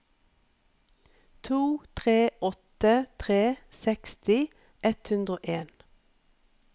to tre åtte tre seksti ett hundre og en